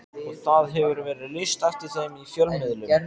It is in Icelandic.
Og það hefur verið lýst eftir þeim í fjölmiðlum.